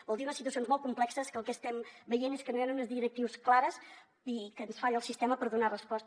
vol dir unes situacions molt complexes que el que estem veient és que no hi han unes directrius clares i que ens falla el sistema per donar hi resposta